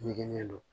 Ɲɛgɛn don